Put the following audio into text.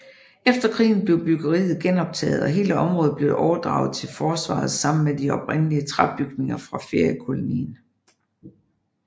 Efter krigen blev byggeriet genoptaget og hele området blev overdraget til Forsvaret sammen med de oprindelige træbygninger fra feriekolonien